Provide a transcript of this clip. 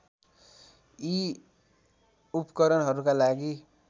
यी उपकरणहरूका लागि